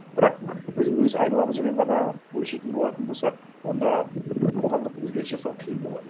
бірақ біз өз айналамызбен ғана өлшейтін болатын болсақ онда қоғамдық өзгеріс жасау қиын болады